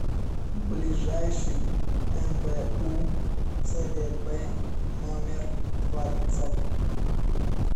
ближайший мбу цгб номер двадцать